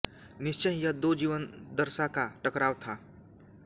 निश्चय ही यह दो जीवनादर्शां का टकराव था